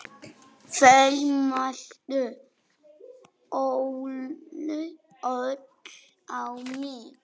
Þau mændu öll á mig.